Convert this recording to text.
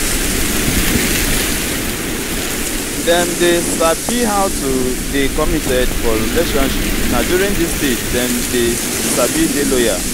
dem dey sabi how to dey committed for relationship na during this stage dem dey sabi dey loyal